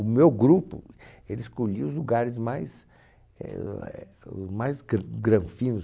O meu grupo escolhia os lugares mais ãh éh mais gran, granfinos.